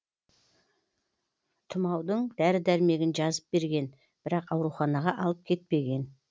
тұмаудың дәрі дәрмегін жазып берген бірақ ауруханаға алып кетпеген